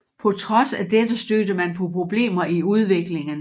På trods af dette stødte man på problemer i udviklingen